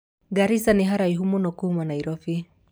Garisa nĩ haraihu múno kuma Nairobi